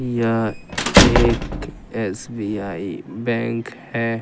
यह एक SBI bank है।